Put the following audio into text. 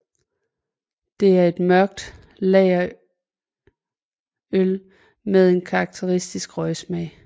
Det er et mørkt lagerøl med en karaktistisk røgsmag